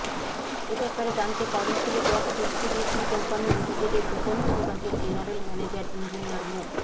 এ ব্যাপারে জানতে Karnaphuli gas distribution company লিমিটেডের বিপণন বিভাগের জেনারেল ম্যানেজার ইঞ্জিনিয়ার মো